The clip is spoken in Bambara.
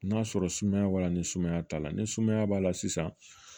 N'a sɔrɔ sumaya b'a la ni sumaya t'a la ni sumaya b'a la sisan